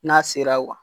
N'a sera